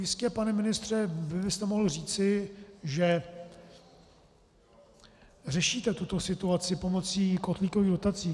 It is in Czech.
Jistě, pane ministře, byste mohl říci, že řešíte tuto situaci pomocí kotlíkových dotací.